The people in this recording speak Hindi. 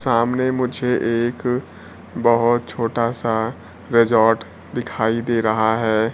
सामने मुझे एक बहोत छोटा सा रिजॉर्ट दिखाई दे रहा है।